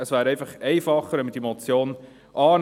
Es wäre einfacher, wenn wir diese Motion annähmen.